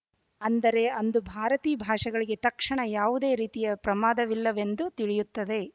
ಅಂದರೆ ಅಂದು ಭಾರತೀ ಭಾಷೆಗಳಿಗೆ ತಕ್ಷಣ ಯಾವುದೇ ರೀತಿಯ ಪ್ರಮಾದವಿಲ್ಲವೆಂದು ತಿಳಿಯುತ್ತದೆ